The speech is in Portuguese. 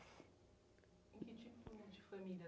Em que tipo de famílias?